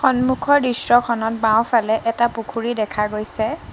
সন্মুখৰ দৃশ্যখনত বাওঁফালে এটা পুখুৰী দেখা গৈছে।